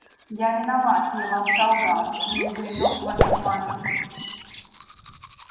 я виноват я вам солгал но и гринёв вас обманывает